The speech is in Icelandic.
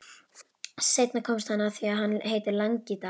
Seinna komst hann að því að hann heitir Langidalur.